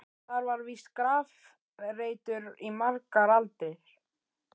Þar var víst grafreitur í margar aldir.